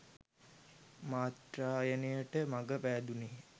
මත්ත්‍රායනයට මග පෑදුණේය